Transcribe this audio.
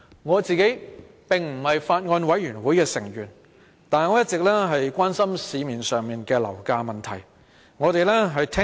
我並非法案委員會成員，但一直關心樓價問題。